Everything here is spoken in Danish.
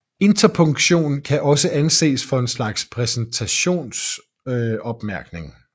Interpunktion kan også anses for en slags præsentationsopmærkning